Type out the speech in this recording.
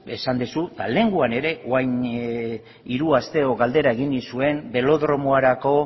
esan dezu eta lehengoan ere orain hiru aste edo galdera egin nizuen belodromoarako